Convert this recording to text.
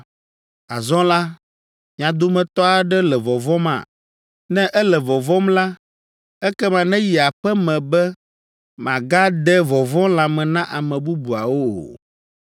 Azɔ la, mia dometɔ aɖe le vɔvɔ̃ma? Ne ele vɔvɔ̃m la, ekema neyi aƒe me be màgade vɔvɔ̃ lãme na ame bubuawo o!’